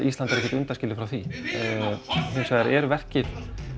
Ísland er ekkert undanskilið frá því hinsvegar er verkið